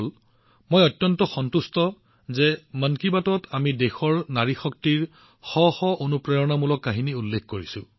এইটো মোৰ বাবে পৰিপূৰ্ণতাৰ বিষয় যে মন কী বাতত আমি দেশৰ নাৰী শক্তিৰ শ শ অনুপ্ৰেৰণাদায়ক কাহিনী উল্লেখ কৰিছো